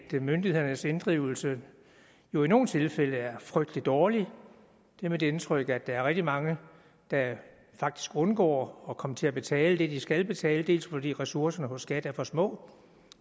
myndighedernes inddrivelse jo i nogle tilfælde er frygtelig dårlig det er mit indtryk at der er rigtig mange der faktisk undgår at komme til at betale det de skal betale dels fordi ressourcerne hos skat er for små